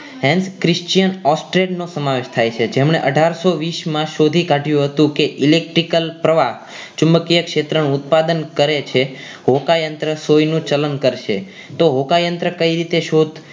henth Christian ઓસ્ટ્રેટ નો સમાવેશ થાય છે જેમણે અઠાર સો વીસ માં શોધી કાઢ્યું હતું કે electrical પ્રવાહ ચુંબકીય ક્ષેત્રણ ઉત્પાદન કરે છે હોકાયંત્ર સોયનું ચલણ કરશે તો હોકાયંત્ર કઈ રીતે શોધ